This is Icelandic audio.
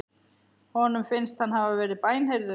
Honum finnst hann hafa verið bænheyrður.